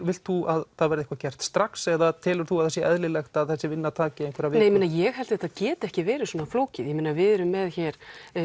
vilt þú að það verði eitthvað gert strax eða telur þú að það sé eðlilegt að þessi vinna taki einhverjar vikur ég held að þetta geti ekki verið svona flókið við erum með hér